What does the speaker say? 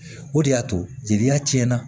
O de y'a to jeliya tiɲɛna